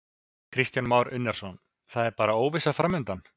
Kristján Már Unnarsson: Það er bara óvissa framundan?